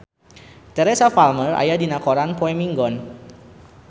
Teresa Palmer aya dina koran poe Minggon